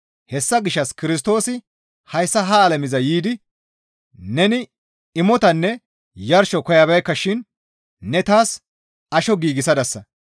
Hessa gishshas Kirstoosi hayssa ha alameza yiidi, «Neni imotanne yarsho koyabeekka shin ne taas asho giigsadasa.